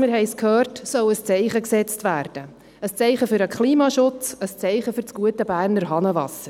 wir haben es gehört – soll ein Zeichen gesetzt werden – ein Zeichen für den Klimaschutz, ein Zeichen für das gute Berner Hahnenwasser.